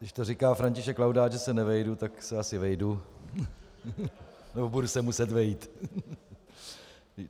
Když to říká František Laudát, že se nevejdu, tak se asi vejdu , nebo budu se muset vejít.